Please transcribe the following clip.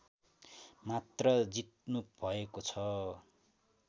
मात्र जित्नुभएको छ